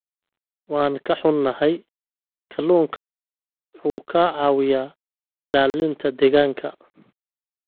Waan ka xunnahay, kalluunka wuxuu ka caawiyaa ilaalinta deegaanka.